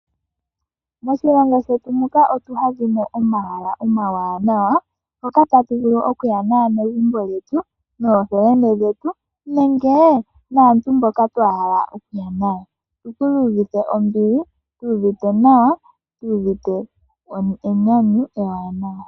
Moshilongo shetu muka omu na omahala omawaanawa hoka tatu vulu okuya naanegumbo yetu, ookuume ketu nenge naantu mboka twa hala okuya nayo ka tu iyuvithe ombili, tu uvite nawa tu iyuvite enyanyu ewanawa.